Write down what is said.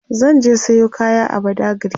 zan je Sayo kaya a badagry